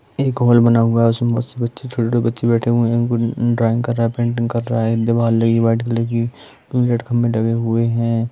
एक हॉल बना हुआ है उसमें बहुत से बच्चे छोटे-छोटे बच्चे बैठे हुए है ड्रॉइंग कर रहा है पेंटिंग कर रहा है दीवाल लगी है वाइट कलर की रेड खम्भे लगे हुए है।